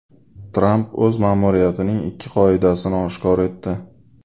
Tramp o‘z ma’muriyatining ikki qoidasini oshkor etdi.